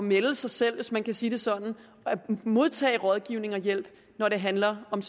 melde sig selv hvis man kan sige det sådan og at modtage rådgivning og hjælp når det handler om